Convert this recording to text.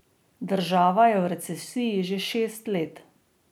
Država je v recesiji že šest let.